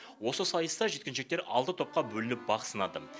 осы сайыста жеткіншектер алты топқа бөлініп бақ сынады